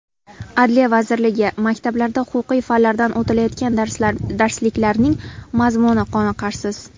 Adliya vazirligi: Maktablarda huquqiy fanlardan o‘tilayotgan darsliklarning mazmuni qoniqarsiz.